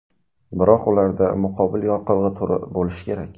Biroq ularda muqobil yoqilg‘i turi bo‘lishi kerak.